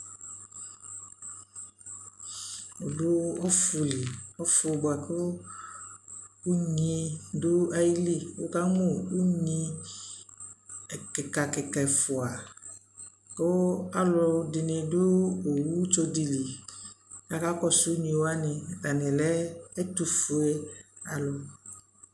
Adu ɔfu lι Ɔfu bua kʋ wʋkamʋ unyi kikakika ɛfua kʋ alʋ dι nι dʋ owu tso dι nι lι kakakɔsu Atani lɛ ɛtʋfuealʋ